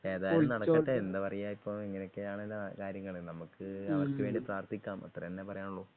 ഏതായാലും നടക്കട്ടെ എന്താ പറയാ ഇപ്പൊ ഇങ്ങനെയൊക്കെയാണ് കാര്യങ്ങള് നമുക്ക് അവർക്ക് വേണ്ടി പ്രാർഥിക്കാം അത്രതന്നെ പറയാനുള്ളു.